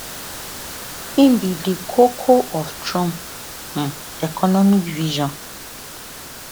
im be di koko of trump um economic vision